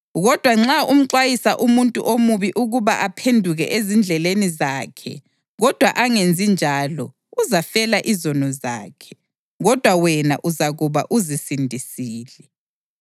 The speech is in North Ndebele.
Kodwa nxa umxwayisa umuntu omubi ukuba aphenduke ezindleleni zakhe kodwa angenzi njalo, uzafela izono zakhe, kodwa wena uzakuba uzisindisile.